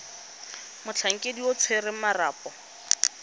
motlhankedi yo o tshwereng marapo